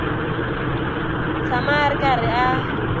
tshama a ri karhi a